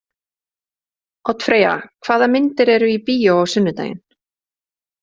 Oddfreyja, hvaða myndir eru í bíó á sunnudaginn?